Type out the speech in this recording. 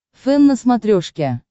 фэн на смотрешке